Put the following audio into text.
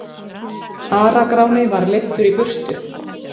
Ara-Gráni var leiddur í burtu.